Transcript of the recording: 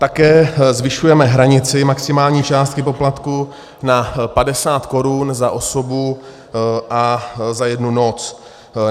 Také zvyšujeme hranici maximální částky poplatku na 50 Kč za osobu a za jednu noc.